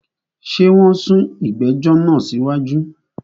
Ṣé wọn sún ìgbẹ̀jọ̀ náà sí wájú?